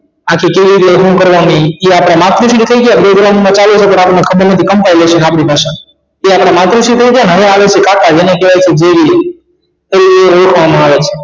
શું કરવાની એ આપણા માતુશ્રી થઈ ગયા માં ચાલુ જ રાખવાનું ખબર નથી કંટાળી જશે આપણી ભાષા માં એ આપણા માતુશ્રી થઈ ગયા હવે આવે છે કાકા જેને કહેવાય છે તે ઓળખવામાં આવે છે